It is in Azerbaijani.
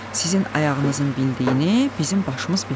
sizin ayağınızın bildiyini bizim başımız bilməz.